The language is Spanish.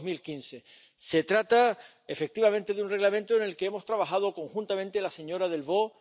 2015. Se trata, efectivamente, de un Reglamento en el que hemos trabajado conjuntamente la señora Delvaux